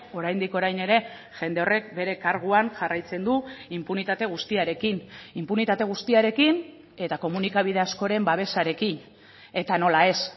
oraindik orain ere jende horrek bere karguan jarraitzen du inpunitate guztiarekin inpunitate guztiarekin eta komunikabide askoren babesarekin eta nola ez